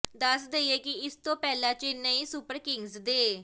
ਦੱਸ ਦੇਈਏ ਕਿ ਇਸ ਤੋਂ ਪਹਿਲਾਂ ਚੇਨਈ ਸੁਪਰ ਕਿੰਗਜ਼ ਦੇ